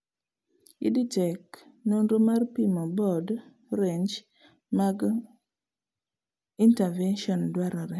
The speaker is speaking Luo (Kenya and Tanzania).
Edtech nonro mar pimo board range mag interventions dwarore